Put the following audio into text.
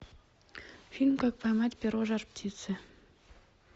фильм как поймать перо жар птицы